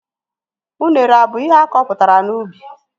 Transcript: Unere abụ ihe akọpụtara n'ubi?